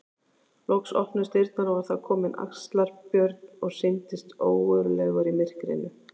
Loks opnuðust dyrnar og var þar kominn Axlar-Björn og sýndist ógurlegur í myrkrinu.